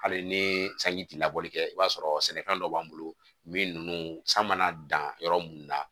Hali ni sanji ti labɔli kɛ i b'a sɔrɔ sɛnɛfɛn dɔ b'an bolo min nunnu san mana dan yɔrɔ mun na